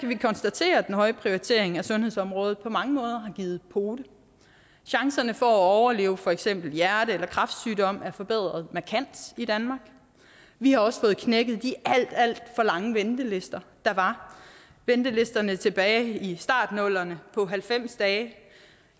vi konstatere at den høje prioritering af sundhedsområdet på mange måder har givet pote chancerne for at overleve for eksempel hjerte eller kræftsygdom er forbedret markant i danmark vi har også fået knækket de alt alt for lange ventelister der var ventelisterne tilbage i starten af nullerne på halvfems dage